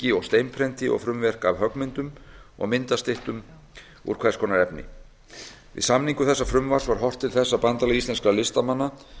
þrykki og steinprenti og frumverk af höggmyndum og myndastyttum úr hvers konar efni við samningu þessa frumvarps var horft til þess að bandalag íslenskra listamanna